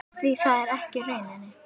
Því það er ekki raunin.